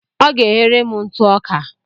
Ọ ga-eghere m ntụ ọka.